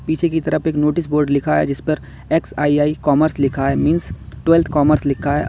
पीछे की तरफ एक नोटिस बोर्ड लिखा है जिस पर एक्स_आई_आई कॉमर्स लिखा है मिन्स ट्वेल्थ कॉमर्स लिखा है।